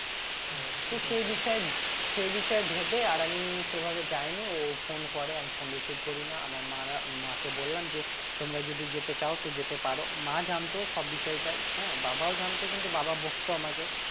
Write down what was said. হ্যাঁ তো সে বিষয়ে সে বিষয়ে ভেবে আর আমি সেভাবে যায়নি ও phone করে আমি phone receive করি না আমার মারা মাকে বললাম যে তোমরা যদি যেতে চাও তো যেতে পারো মা জানতো সব বিষয়টাই হ্যাঁ, বাবাও জানতো কিন্তু বাবা বকতো আমাকে